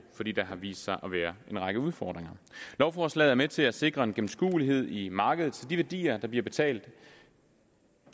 fordi der har vist sig at være en række udfordringer lovforslaget er med til at sikre en gennemskuelighed i markedet så de værdier der bliver betalt